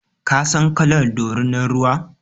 Ka san kalar dorinan ruwa?